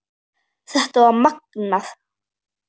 Þetta var magnað.